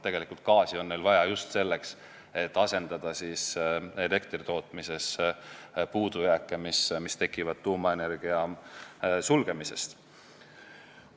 Tegelikult on neil gaasi vaja just selleks, et asendada puudujääke elektritootmises, mis on tekkinud tuumajaamade sulgemise tõttu.